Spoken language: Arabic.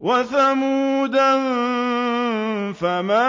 وَثَمُودَ فَمَا